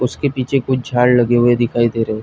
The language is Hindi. उसके पीछे कुछ झाड़ लगे हुए दिखाई दे रहे है।